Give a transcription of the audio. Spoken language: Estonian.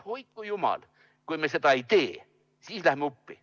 Hoidku jumal, kui me seda ei tee, sest siis läheme uppi.